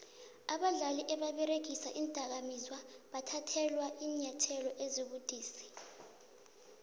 abadlali ababeregisa iindakamizwa bathathelwa iinyathelo ezibudisi